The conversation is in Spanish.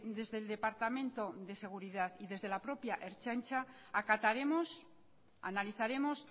desde el departamento de seguridad y desde la propia ertzaintza acataremos analizaremos